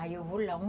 Aí eu vou lá.